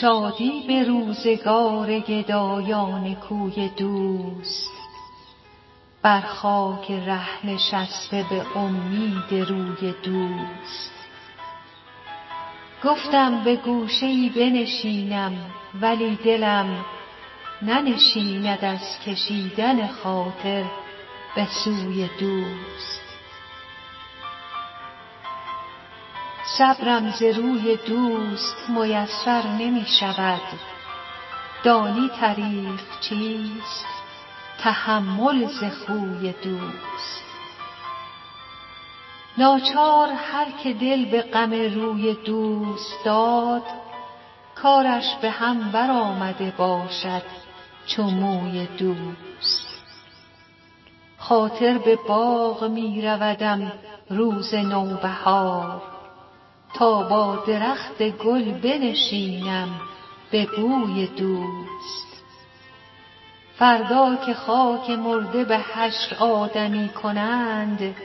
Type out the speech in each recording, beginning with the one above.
شادی به روزگار گدایان کوی دوست بر خاک ره نشسته به امید روی دوست گفتم به گوشه ای بنشینم ولی دلم ننشیند از کشیدن خاطر به سوی دوست صبرم ز روی دوست میسر نمی شود دانی طریق چیست تحمل ز خوی دوست ناچار هر که دل به غم روی دوست داد کارش به هم برآمده باشد چو موی دوست خاطر به باغ می رودم روز نوبهار تا با درخت گل بنشینم به بوی دوست فردا که خاک مرده به حشر آدمی کنند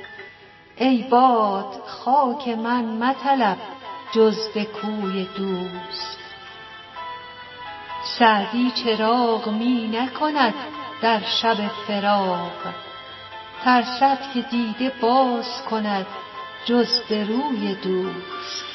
ای باد خاک من مطلب جز به کوی دوست سعدی چراغ می نکند در شب فراق ترسد که دیده باز کند جز به روی دوست